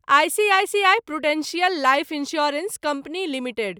ICICI prudential life insurance company limited